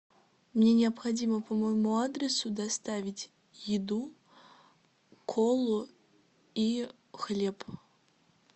мне необходимо по моему адресу доставить еду колу и хлеб